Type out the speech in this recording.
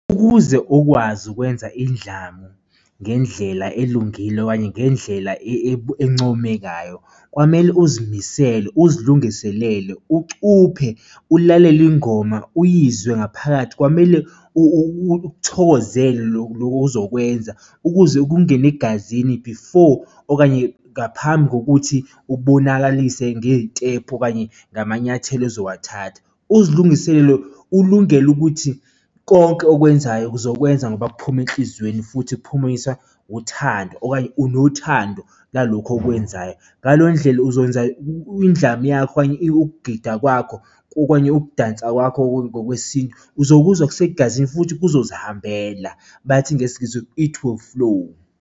Ukuze ukwazi ukwenza indlamu ngendlela elungile okanye ngendlela encomekayo kwamele uzimisele uzilungiselele ucuphe, ulalele ingoma uyizwe ngaphakathi kwamele ukuthokozela loku ozokwenza ukuze kungene egazini before okanye ngaphambi kokuthi ubonakalise ngey'tephu okanye ngamanyathelo ozowathatha. Uzilungiselele ulungele ukuthi konke okwenzayo uzokwenza ngoba kuphuma enhlizweni futhi kuphumiswa uthando okanye unothando lalokho okwenzayo. Ngaleyo ndlela uzokwenza indlamu yakho okanye ukugida kwakho okanye ukudansa kwakho ngokwesintu uzokuzwa kusegazini futhi kuzozihambela, bathi ngesiNgisi it will flow.